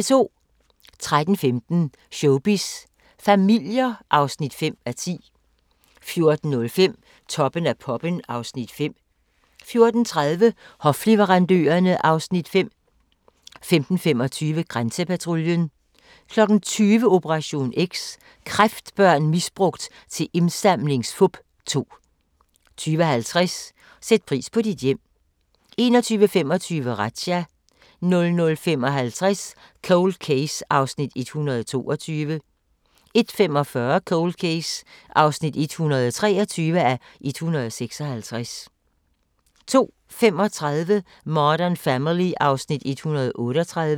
13:15: Showbiz familier (5:10) 14:05: Toppen af poppen (Afs. 5) 14:30: Hofleverandørerne (Afs. 5) 15:25: Grænsepatruljen 20:00: Operation X: Kræftbørn misbrugt til indsamlingsfup 2 20:50: Sæt pris på dit hjem 21:25: Razzia 00:55: Cold Case (122:156) 01:45: Cold Case (123:156) 02:35: Modern Family (Afs. 138)